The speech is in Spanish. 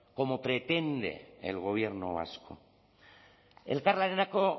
como pretende el gobierno vasco elkarlanerako